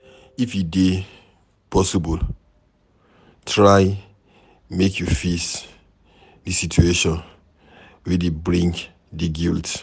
If e dey possible, try make you fix di situation wey dey bring di guilt